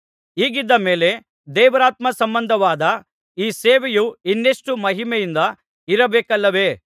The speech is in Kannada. ಹೀಗಿದ್ದ ಮೇಲೆ ದೇವರಾತ್ಮಸಂಬಂಧವಾದ ಈ ಸೇವೆಯು ಇನ್ನೆಷ್ಟು ಮಹಿಮೆಯಿಂದ ಇರಬೇಕಲ್ಲವೇ